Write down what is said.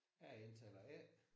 Jeg hedder taler A